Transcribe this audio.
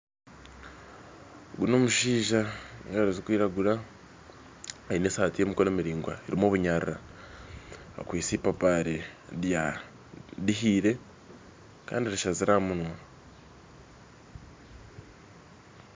Ogu n'omushaija aine engaro zikwiragura aine esaati y'emikono miraigwa erimu obunyarrara akwistye ipaapari rihiire kandi rishazirwe aha munwa